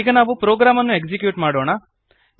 ಈಗ ನಾವು ಪ್ರೊಗ್ರಾಮನ್ನು ಎಕ್ಸಿಕ್ಯೂಟ್ ಮಾಡೋಣ